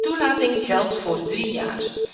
Een toelating geldt voor drie jaar.